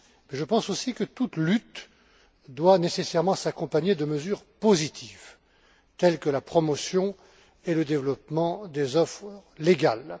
Je pense aussi que toute lutte doit nécessairement s'accompagner de mesures positives, telles que la promotion et le développement des offres légales.